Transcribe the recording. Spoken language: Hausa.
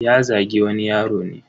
Ya Zagi wani yaro ne.